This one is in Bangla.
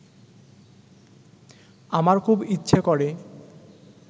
আমার খুব ইচ্ছে করে